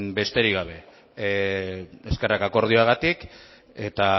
besterik gabe eskerrak akordioagatik eta